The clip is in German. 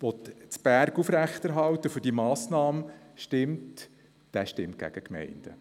Wer jetzt für diese Massnahme stimmt, stimmt gegen die Gemeinden.